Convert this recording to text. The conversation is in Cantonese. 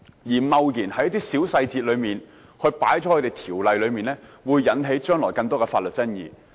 如果我們貿然將一些小細節加入《條例草案》，將來會引起更多的法律爭議。